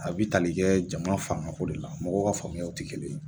A bɛ tali kɛ jamana fangako de la mɔgɔw ka faamuyaw tɛ kelen ye